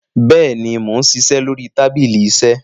béèni món ṣiṣẹ lórí tábìlì iṣe.